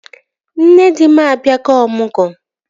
Nne di m abịago ọmụgwọ